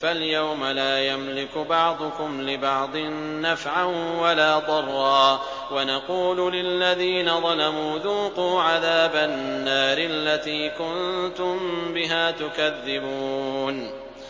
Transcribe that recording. فَالْيَوْمَ لَا يَمْلِكُ بَعْضُكُمْ لِبَعْضٍ نَّفْعًا وَلَا ضَرًّا وَنَقُولُ لِلَّذِينَ ظَلَمُوا ذُوقُوا عَذَابَ النَّارِ الَّتِي كُنتُم بِهَا تُكَذِّبُونَ